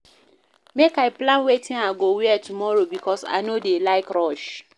Make I plan wetin I go wear tomorrow because I no dey like rush.